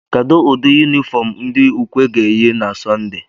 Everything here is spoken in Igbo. Kedụ ụdị yunifọm ndị ukwe ga-eyi na sọnde?